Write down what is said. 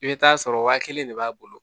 I bɛ taa sɔrɔ waa kelen de b'a bolo